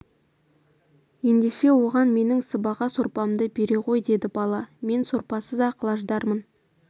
ендеше оған менің сыбаға сорпамды бере ғой деді бала мен сорпасыз-ақ лаждармын